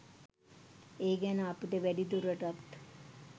ඒ ගැන අපිට වැඩිදුරටත්